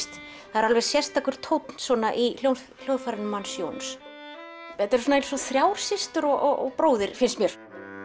það er alveg sérstakur tónn í hljóðfærinu hans Jóns þetta er eins og þrjár systur og bróðir finnst mér